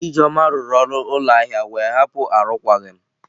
Ijeoma rụrụ ọrụ ụlọ ahịa wee hapụ arụkwaghịm.